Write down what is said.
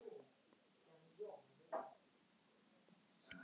Þar var í rauninni ekkert um að semja.